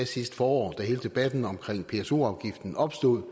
sidste forår da hele debatten om pso afgiften opstod